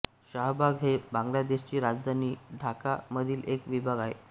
शाहबाग हे बांगलादेशची राजधानी ढाका मधील एक विभाग आहे